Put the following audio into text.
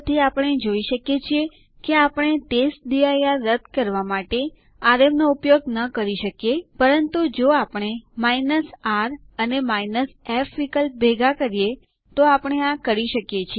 ચાલો ટર્મિનલ ઉપર જઈએ હું તમને ડીએફ આદેશ સાથે વાપરતા અમુક મદદરૂપ વિકલ્પો બતાવીશ